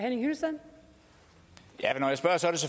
nu